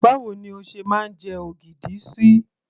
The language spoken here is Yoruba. báwo ni o ṣe máa ń jẹ ogidi sí